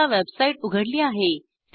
मी आता वेबसाईट उघडली आहे